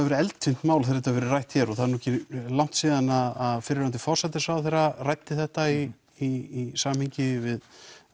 verið eldfimt mál þegar þetta hefur verið rætt hér og það er ekki langt síðan að fyrrverandi forsætisráðherra ræddi þetta í í samhengi við